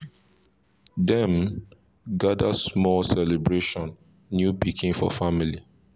dem gather small celebrate new pikin for family